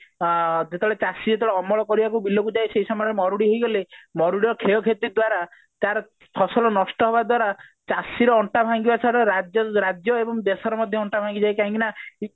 ଆ ଯେତେବେଳେ ଚାଷୀ ଯେତେବେଳେ ଅମଳ କରିବାକୁ ବିଲକୁ ଯାଏ ସେଇ ସମୟରେ ମରୁଡି ହୋଇଗଲେ ମରୁଡ଼ିର କ୍ଷୟକ୍ଷତି ଦ୍ଵାରା ତାର ଫସଲ ନଷ୍ଟ ହେବା ଦ୍ଵାରା ଚାଷୀର ଅଣ୍ଟା ଭାଙ୍ଗିବା ଛଡା ରାଜ୍ୟ ରାଜ୍ୟ ଏବଂ ଦେଶର ମଧ୍ୟ ଅଣ୍ଟା ଭାଙ୍ଗିଯାଏ କାହିଁକି ନା